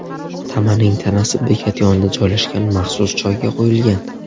Tamaning tanasi bekat yonida joylashgan maxsus joyga qo‘yilgan.